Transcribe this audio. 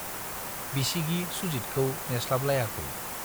बिसिगि सुजितखौ नेस्लाबलायाखै।